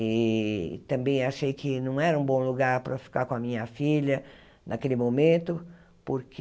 E também achei que não era um bom lugar para ficar com a minha filha naquele momento, porque